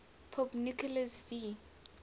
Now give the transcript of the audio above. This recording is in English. pope nicholas v